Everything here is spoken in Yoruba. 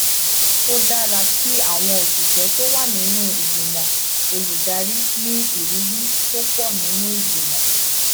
ó dára kí àwọn òṣìṣẹ tó wà nínú ìgbìmọ olùdarí ní ìrírí tó pò nínú ìgbìmọ